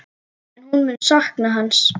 En hún mun sakna hans.